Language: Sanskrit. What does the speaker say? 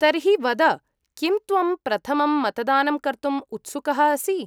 तर्हि वद, किं त्वं प्रथमं मतदानं कर्तुम् उत्सुकः असि?